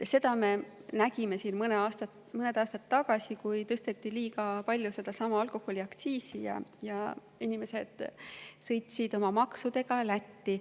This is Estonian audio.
Seda me nägime mõned aastad tagasi, kui tõsteti liiga palju sedasama alkoholiaktsiisi ja inimesed sõitsid oma maksudega Lätti.